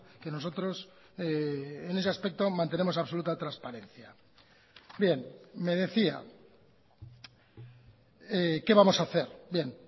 que nosotros en ese aspecto mantenemos absoluta transparencia bien me decía qué vamos a hacer bien